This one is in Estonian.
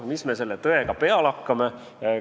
Mis me selle tõega peale hakkame?